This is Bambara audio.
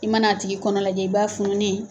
I mana a tigi kɔnɔ lajɛ i b'a fununen ye